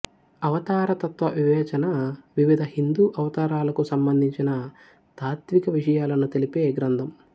అవతారతత్త్వ వివేచన వివిధ హిందూ అవతారాలకు సంబంధించిన తాత్త్విక విషయాలను తెలిపే గ్రంథం